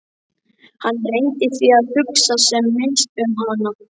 Hann reyndi því að hugsa sem minnst um hana.